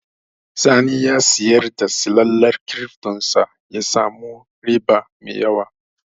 Sani ya siyar da silalar kirifton sa ya sami riba mai yawa